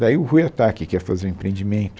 Daí o Ruy Ohtake, que ia fazer o empreendimento,